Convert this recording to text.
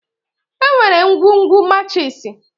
Enwere ngwugwu machiisi.